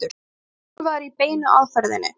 hann var þjálfaður í beinu aðferðinni.